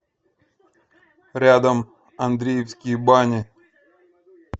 рядом андреевские бани